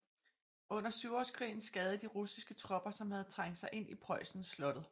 Under syvårskrigen skadede de russiske tropper som havde trængt sig ind i Preussen slottet